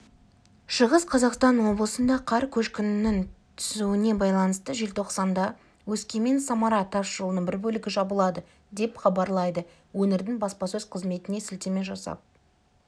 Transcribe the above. шығыс қазақстан облысында қар көшкінінің түсуіне байланысты желтоқсанда өскемен-самара тас жолының бір бөлігі жабылады деп хабарлайды өңірдің баспасөз-қызметіне сілтеме жасап